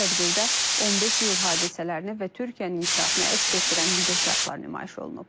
Tədbirdə 15 İyul hadisələrini və Türkiyənin inkişafını əks etdirən videoşərxlər nümayiş olunub.